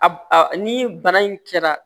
A ni bana in kɛra